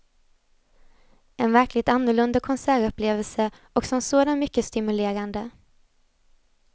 En verkligt annorlunda konsertupplevelse och som sådan mycket stimulerande.